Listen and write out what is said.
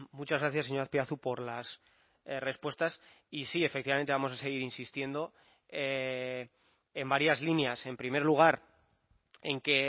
muchas gracias señor azpiazu por las respuestas y sí efectivamente vamos a seguir insistiendo en varias líneas en primer lugar en que